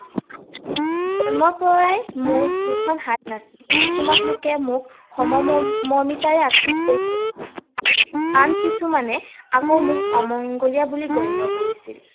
জন্মৰ পৰাই মোৰ দুইখন হাত নাছিল। কিছুমান লোকে মোক সম মমৰ্মিতাৰে আঁকোৱালি লৈছিল। আন কিছুমানে আকৌ মোক অমংগলীয়া বুলি মোক গণ্য কৰিছিল।